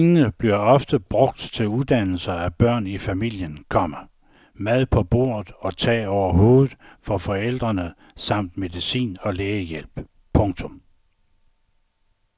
Pengene bliver oftest brugt til uddannelse af børn i familien, komma mad på bordet og tag over hovedet for forældrene samt medicin og lægehjælp. punktum